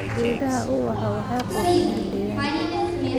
Geedaha ubaxa waxay qurxinayaan deegaanka.